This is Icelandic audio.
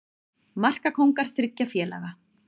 Markakóngur þriggja félaga